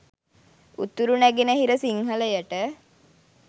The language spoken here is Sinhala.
උතුර නැගෙන හිර සිංහලයට